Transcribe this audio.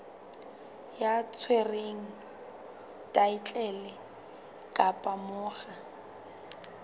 ya tshwereng thaetlele kapa monga